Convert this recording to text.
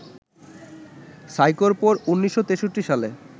সাইকোর পর ১৯৬৩ সালে